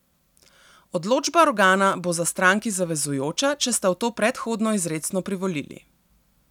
Odločba organa bo za stranki zavezujoča, če sta v to predhodno izrecno privolili.